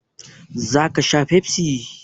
Za ka sha Pepsi?